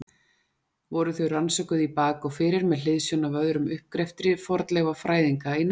Voru þau rannsökuð í bak og fyrir með hliðsjón af öðrum uppgreftri fornleifafræðinga í nágrenninu.